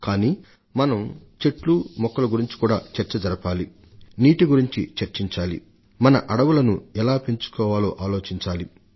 కానీ మనం వృక్ష జంతుజాల గురించి నీటిని పొదుపుగా వాడుకోవడం గురించి మన వనాల విస్తీర్ణాన్ని పెంచడం ఎలాగన్నదానిని గురించి కూడా చర్చ జరిపే తీరాలి